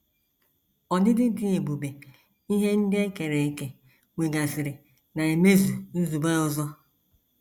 Ọdịdị dị ebube ihe ndị e kere eke nwegasịrị na - emezu nzube ọzọ.